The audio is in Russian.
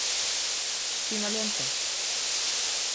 кинолента